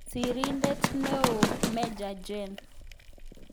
Sirindeet eoo-Meja Jen